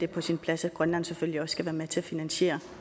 på sin plads at grønland selvfølgelig også skal være med til at finansiere